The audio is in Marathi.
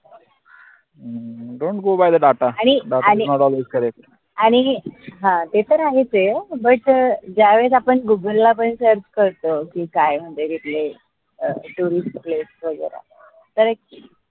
आणि हं ते तर आहेच ए but अं ज्या वेळेस आपन गूगल ला पण search करतो की काय म्हनजे अं tourist लोक वगैरा